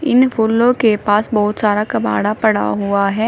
इन फूलों के पास बहुत सारा कबाड़ा पड़ा हुआ है।